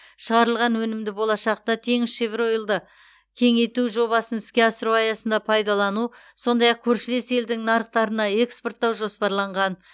шығарылған өнімді болашақта теңізшевроилды кеңейту жобасын іске асыру аясында пайдалану сондай ақ көршілес елдің нарықтарына экспорттау жоспарланған